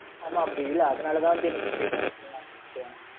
ஆமா Mam அப்படி இல்லை. அதனாலதான் வந்து, என்னக்கு pain